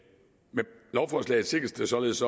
med lovforslaget sikres således